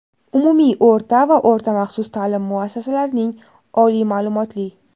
Umumiy o‘rta va o‘rta maxsus taʼlim muassasalarining oliy maʼlumotli;.